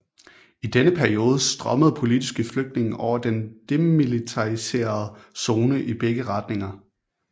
I denne periode strømmede politiske flygtninge over den demilitariserede zone i begge retninger